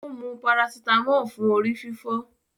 O ń mú paracetamol fún orí-fífọ́